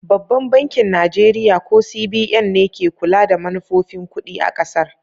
Babban bankin Najeriya, ko CBN, ne ke kula da manufofin kudi a kasar.